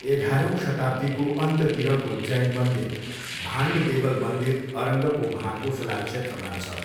एघारौँ शताब्दीको अन्त्यतिरको जैन मन्दिर भान्ड देवल मन्दिर अरङ्गको महाकोसला क्षेत्रमा छ।